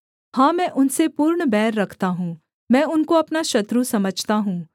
हाँ मैं उनसे पूर्ण बैर रखता हूँ मैं उनको अपना शत्रु समझता हूँ